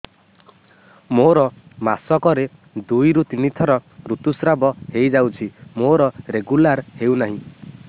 ମୋର ମାସ କ ରେ ଦୁଇ ରୁ ତିନି ଥର ଋତୁଶ୍ରାବ ହେଇଯାଉଛି ମୋର ରେଗୁଲାର ହେଉନାହିଁ